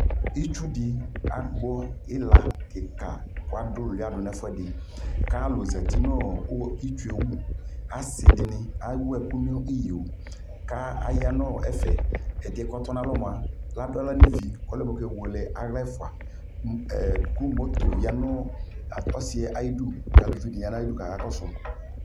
Itsu di agbɔ ila kika ka du iluya ka lu zati nu itsuɛ wuAsi di ni awu ɛku ni yo ka aya nu ɛfɛƐdi yɛ ka tɔ na lɔ mua adu aɣla ni vi ɔlɛ mɔ kɛ wele aɣla ɛfuaKu moto ya nu ɔsi yɛ ayi du ka lu vi di ya nu ayi du kaka kɔ su